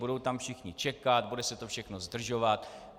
Budou tam všichni čekat, bude se to všechno zdržovat.